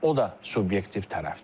O da subyektiv tərəfdir.